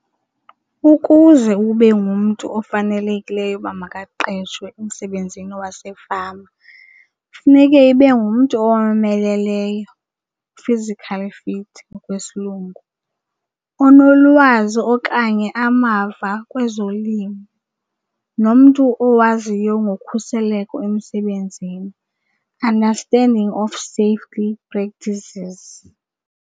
Ukuze ube ngumntu ofanelekileyo uba makaqeshwe emsebenzini wasefama funeke ibe ngumntu owomeleleyo, physically fit ngokwesilungu, onolwazi okanye amava kwezolimo. Nomntu owaziyo ngokhuseleko emsebenzini, understanding of safety practices.